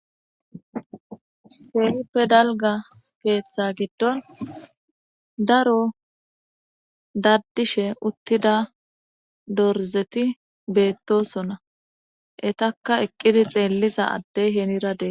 Heenippe dalga keeththa giddon daro daddishe uttida dorzeti beettosonna etakka eqqidi xeelliza addey heniradee.